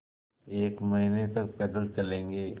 एक महीने तक पैदल चलेंगे